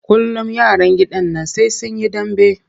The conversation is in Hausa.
Kullum yaran gidan nan sai sun yi dambe.